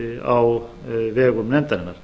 á vegum nefndarinnar